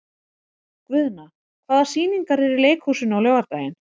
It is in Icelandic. Guðna, hvaða sýningar eru í leikhúsinu á laugardaginn?